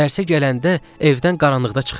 Dərsə gələndə evdən qaranlıqda çıxır.